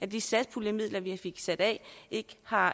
de satspuljemidler vi fik sat af ikke har